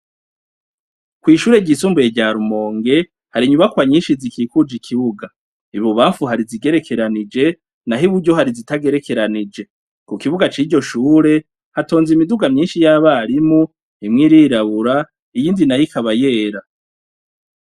Kw'ishure ryisumbuye rya Rumonge hari inyubakwa nyinshi zikikuje ikibuga ,ibubanfu hari izigerekeranije naho iburyo hari izitagerekeranije . Ku kibuga c'iryo shure hatonze imiduga myinshi y'abarimu ,imwe irirabura iyindi nayo ikaba yera .